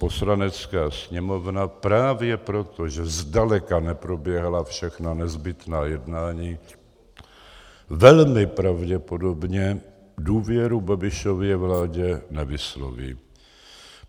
Poslanecká sněmovna právě proto, že zdaleka neproběhla všechna nezbytná jednání, velmi pravděpodobně důvěru Babišově vládě nevysloví.